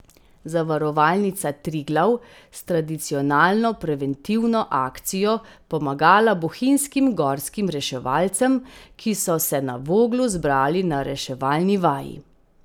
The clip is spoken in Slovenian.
Zavarovalnica Triglav s tradicionalno preventivno akcijo pomagala bohinjskim gorskim reševalcem, ki so se na Voglu zbrali na reševalni vaji.